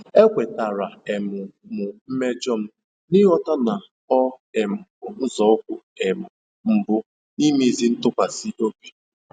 Ekwetara um m mmejọ m, n'ịghọta na ọ um bụ nzọụkwụ um mbụ n'imezi ntụkwasị obi.